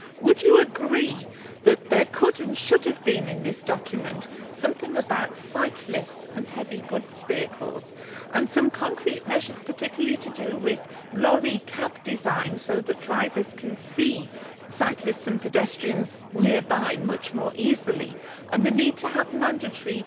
Would you agree that there could and should have been in this document something about cyclists and heavy goods vehicles, with some concrete measures particularly to do with lorry cab designs so that drivers can see cyclists and pedestrians nearby much more easily, and the need for mandatory